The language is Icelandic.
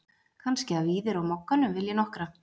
Kannski að Víðir á Mogganum vilji nokkra?